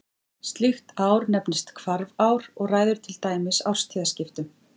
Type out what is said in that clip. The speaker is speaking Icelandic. Slíkt ár nefnist hvarfár og ræður til dæmis árstíðaskiptum.